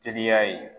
Teliya ye